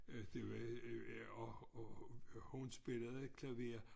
Øh det var øh og og hun spillede klaver